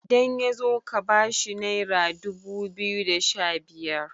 idan ya zo ka bashi naira dubu biyu da Sha biyar